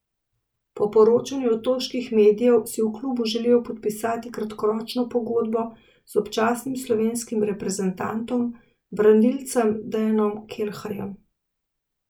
Po poročanju otoških medijev si v klubu želijo podpisati kratkoročno pogodbo z občasnim slovenskim reprezentantom, branilcem Dejanom Kelharjem.